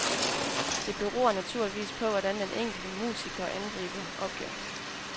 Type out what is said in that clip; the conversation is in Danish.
Det beror naturligvis på, hvordan den enkelte musiker angriber opgaven.